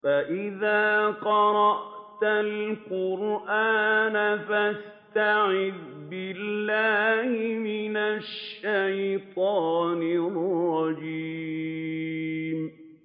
فَإِذَا قَرَأْتَ الْقُرْآنَ فَاسْتَعِذْ بِاللَّهِ مِنَ الشَّيْطَانِ الرَّجِيمِ